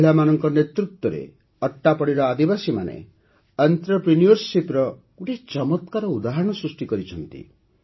ମହିଳାମାନଙ୍କ ନେତୃତ୍ୱରେ ଅଟ୍ଟାପଡ଼ିର ଆଦିବାସୀମାନେ ଅଂତ୍ରପ୍ରିନିଉରସିପର ଗୋଟିଏ ଚମତ୍କାର ଉଦାହରଣ ସୃଷ୍ଟି କରିଛନ୍ତି